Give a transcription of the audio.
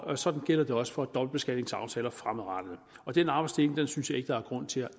og sådan gælder det også for dobbeltbeskatningsaftaler fremadrettet den arbejdsdeling synes jeg ikke der er grund til at